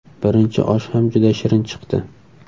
Birinchi osh ham juda shirin chiqdi.